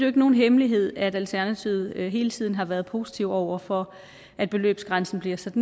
ikke nogen hemmelighed at alternativet hele tiden har været positive over for at beløbsgrænsen bliver sat